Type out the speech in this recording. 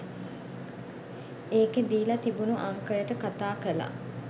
ඒකේ දීලා තිබුණු අංකයට කතා කළා